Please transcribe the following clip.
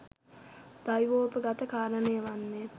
දෛවෝපගත කාරණය වන්නේ